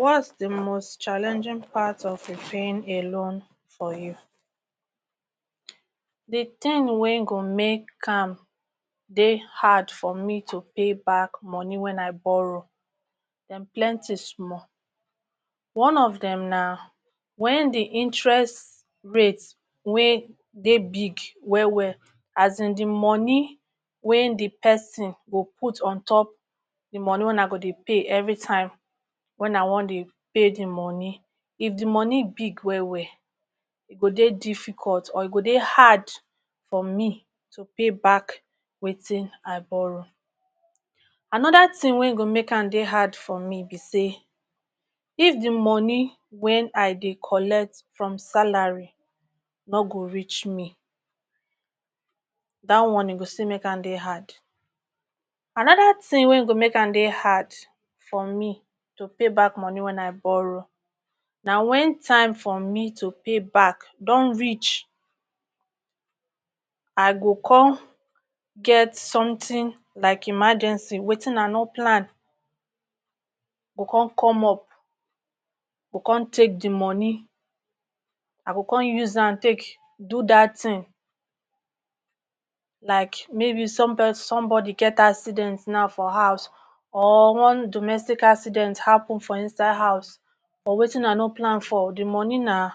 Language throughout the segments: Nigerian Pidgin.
Wat's di most challenging parts of a paying a loan for you? Di tin wey go make am dey hard for me to pay back money wey I borrow dem plenty small. One of dem na wen di interest rate wey dey big wel wel, azin di money wen di person go put on top di money wen I go dey pay evri time wen I wan dey pay di money, if di money big wel wel e go dey difficult or e go dey hard for me to pay back wetin I borrow. Anoda tin wen go make am dey hard for me be say, if di money wen I dey collect from salary no go reach me, dat one e go still make am dey hard. Anoda tin wen go make am dey hard for me to pay back money wey I borrow, na wen time for me to pay back don reach I go come get somtin like emergency, wetin I no plan go come come up, go come take di money, I go come use am take do dat tin. Like maybe somebody get accident na for house or one domestic accident happun for inside house or wetin I no plan for di money na,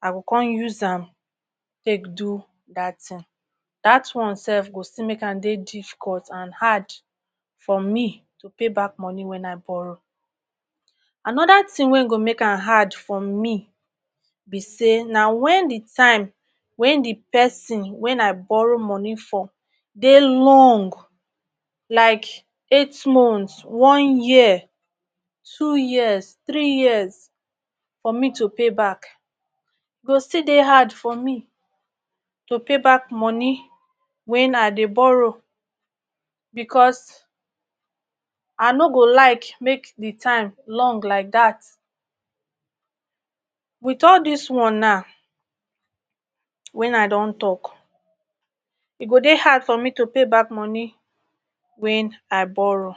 I go come use take do dat tin, dat one sef go still make am dey difficult and hard for to payback money wen I borrow. Anoda tin wen go make am hard for me be say na wen di time, wen di pesin wen i borrow money for dey long like eight months, one year, two years, three years for me to pay back go still dey hard for me to pay back money wen I dey borrow bicos I no go like make di time long like dat. Wit all dis one na, wen I don tok e go dey hard for me to pay back money wen I borrow